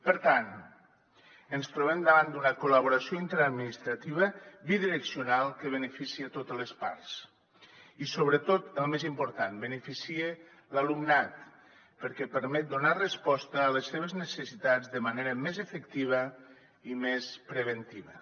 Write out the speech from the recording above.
per tant ens trobem davant d’una col·laboració interadministrativa bidireccional que beneficia totes les parts i sobretot el més important beneficia l’alumnat perquè permet donar resposta a les seves necessitats de manera més efectiva i més preventiva